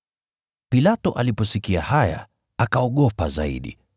Pilato aliposikia haya, akaogopa zaidi.